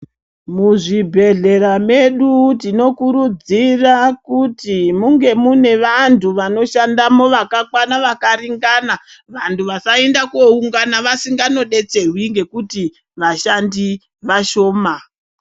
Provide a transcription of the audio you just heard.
Mu zvibhedhlera medu tino kurudzira kuti munge mune vantu vano shandamo vakakwana vaka ringarana vantu vasa enda ko ungana vasingano detserwi ngekuti vashandi vashoma.